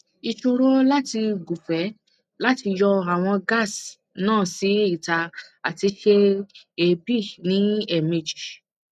isoro lati gunfe lati yo awon gas na si ita ati se eebi ni emeji